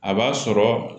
A b'a sɔrɔ